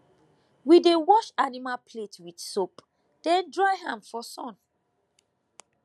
we dey wash animal plate with soap then dry am for sun